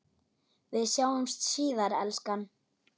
Við sjáumst síðar, elskan.